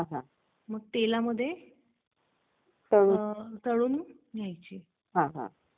चांगलं रे तुझा उपक्रम चांगला आहे तू जो विचार करतोय आणि सगळा तुझी वाटचाल जी चालली.